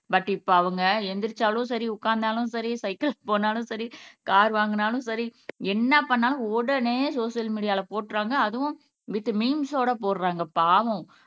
but இப்ப அவங்க எந்திரிச்சாலும் சரி உட்கார்ந்தாலும் சரி சைக்கிள்ஸ் போனாலும் சரி கார் வாங்கினாலும் சரி என்ன பண்ணாலும் உடனே சோசியல் மீடியால போட்டுருவாங்க அதுவும் வித் மீம்ஸோட போடுறாங்க பாவம்